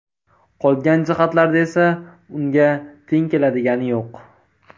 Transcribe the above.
Qolgan jihatlarda esa unga teng keladigani yo‘q.